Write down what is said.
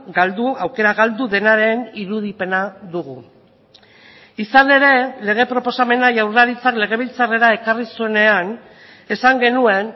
galdu aukera galdu denaren irudipena dugu izan ere lege proposamena jaurlaritzak legebiltzarrera ekarri zuenean esan genuen